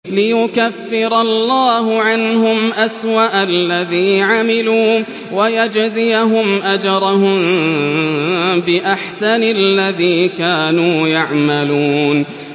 لِيُكَفِّرَ اللَّهُ عَنْهُمْ أَسْوَأَ الَّذِي عَمِلُوا وَيَجْزِيَهُمْ أَجْرَهُم بِأَحْسَنِ الَّذِي كَانُوا يَعْمَلُونَ